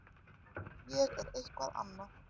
Ég er eitthvað annað.